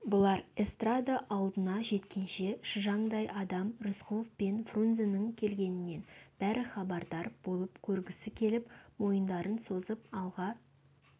бұлар эстрада алдына жеткенше шыжандай адам рысқұлов пен фрунзенің келгенінен бәрі хабардар болып көргісі келіп мойындарын созып алға